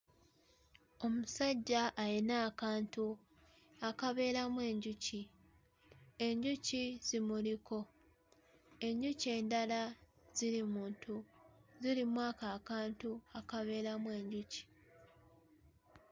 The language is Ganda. Omusajja ayina akantu akabeeramu enjuki enjuki zimuliko enjuki endala ziri mu ntu ziri mu ako akantu akabeeramu enjuki